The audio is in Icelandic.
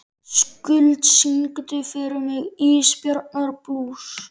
Skuld, syngdu fyrir mig „Ísbjarnarblús“.